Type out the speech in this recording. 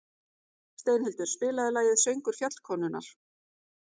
Steinhildur, spilaðu lagið „Söngur fjallkonunnar“.